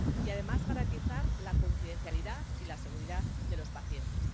Y, además, debemos garantizar la confidencialidad y la seguridad de los pacientes.